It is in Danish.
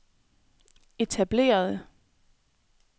etablerede